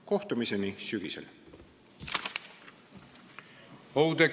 Kohtumiseni sügisel!